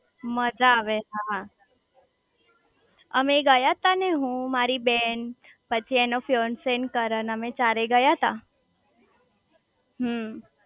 મજા આવે હા અમેય ગયા તા ને હું મારી બેન પછી એનો ફિયોનસી અને કરણ અમે ચારેય ગયા તા હમમ